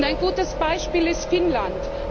Ein gutes Beispiel ist Finnland.